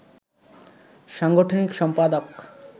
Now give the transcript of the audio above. সাংগঠনিক সম্পাদক